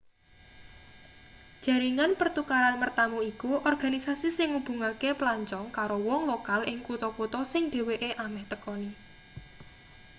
jaringan pertukaran mertamu iku organisasi sing ngubungake pelancong karo wong lokal ing kutha-kutha sing dheweke ameh tekani